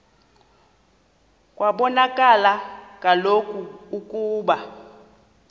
kwabonakala kaloku ukuba